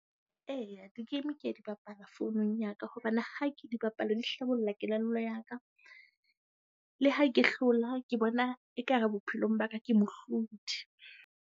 Eya, di-game ke a di bapala founung ya ka hobane ha ke di bapala di hlabolla kelello ya ka. Le ha ke hlola ke bona ekare bophelong ba ka ke mohlodi.